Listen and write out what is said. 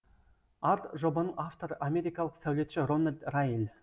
арт жобаның авторы америкалық сәулетші рональд раэль